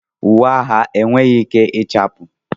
Uwe agha enweghị ike ịchafụ.